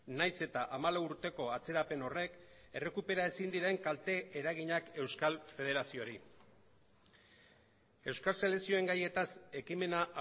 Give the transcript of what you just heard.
nahiz eta hamalau urteko atzerapen horrek errekupera ezin diren kalte eraginak euskal federazioari euskal selekzioen gaietaz ekimena